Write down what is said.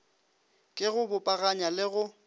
ke go bopaganya le go